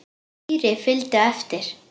Týri fylgdi á eftir.